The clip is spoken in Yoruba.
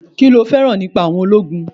Kí lo féràn nípa àwọn ológun?